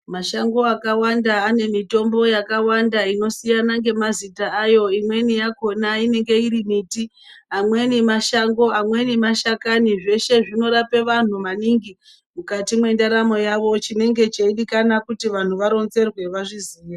Mashango akawanda ane mitombo yakawanda inosiyana ngemazita ayo imweni yakhona inenge iri miti amweni mashango amweni mashakani zveshe zvinorapa vantu maningi mukati mwendaramo yavo chinenge cheidikana kuti vantu varikuronzerwa vazviziye.